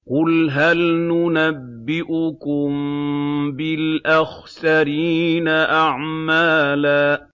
قُلْ هَلْ نُنَبِّئُكُم بِالْأَخْسَرِينَ أَعْمَالًا